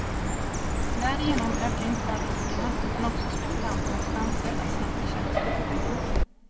Därigenom ökar inte bara riskerna utan också spekulanternas chanser att snabbt tjäna stora pengar.